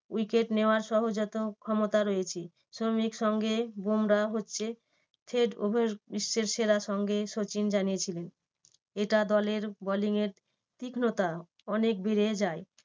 Wicket নেওয়ার সহজাত ক্ষমতা রয়েছে সামির সঙ্গে বুমরা হচ্ছে বিশ্বের সেরা সঙ্গী সচিন জানিয়েছিলেন। এটা দলের bowling এর তীক্নতা অনেক বেড়ে যায়।